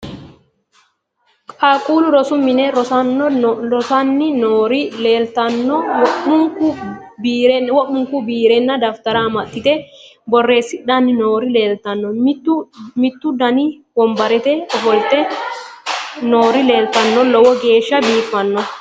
Qaaqullu rosu mine rosano nori laltanno womunku birenna dafitara amaxite borreessidhani noori leletanno mitu Dani wonbatera ofalite norri leelitanno low geshsha bifano